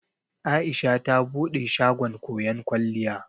Aisha ta bude shagon koyon kwalliya.